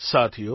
સાથીઓ